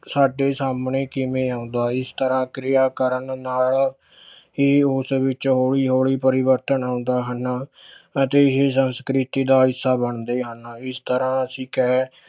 ਸਾਡੇ ਸਾਹਮਣੇ ਕਿਵੇਂ ਆਉਂਦਾ ਇਸ ਤਰ੍ਹਾਂ ਕਿਰਿਆ ਕਰਨ ਨਾਲ ਹੀ ਉਸ ਵਿੱਚ ਹੌਲੀ ਹੌਲੀ ਪਰਿਵਰਤਨ ਆਉਂਦਾ ਹਨ ਅਤੇ ਇਹੀ ਸੰਸਕ੍ਰਿਤੀ ਦਾ ਹਿੱਸਾ ਬਣਦੇ ਹਨ ਇਸ ਤਰ੍ਹਾਂ ਅਸੀਂ ਕਹਿ